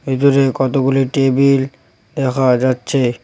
ওই দূরে কতগুলি টেবিল দেখা যাচ্ছে।